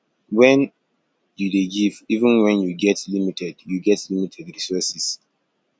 when you dey give even when you get limited you get limited resources